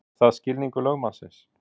Er það skilningur lögmannsins?